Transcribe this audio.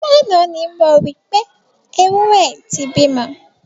Lánàá ni mo rí pé, ewúrẹ́ ẹ ti bímọ.